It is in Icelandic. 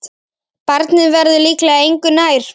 Barnið verður líklega engu nær.